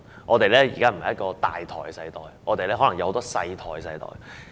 現在不是一個"大台"的世代，而是可能有很多"細台"的世代。